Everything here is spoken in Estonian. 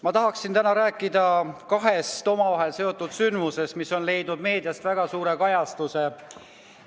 Ma tahaksin täna rääkida kahest omavahel seotud sündmusest, mis on leidnud meedias väga suurt kajastust.